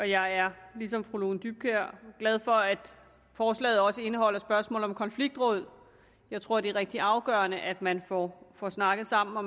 jeg er ligesom fru lone dybkjær glad for at forslaget også indeholder spørgsmålet om konfliktråd jeg tror det er rigtig afgørende at man får snakket sammen og